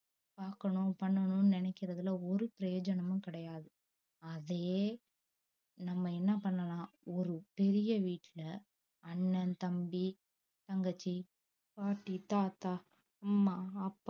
பாக்கணும் பண்ணனும் நினைகிறதுல ஒரு பிரயோஜனமும் கிடையாது அதையே நம்ம என்ன பண்ணலாம் ஒரு பெரிய வீட்டுல அண்ணன் தம்பி தங்கச்சி பாட்டி தாத்தா அம்மா அப்பா